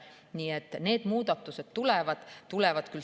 Nii et need muudatused tulevad.